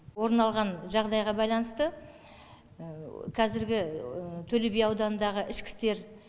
орын алған жағдайға байланысты қазіргі төлеби ауданындағы ішкі істер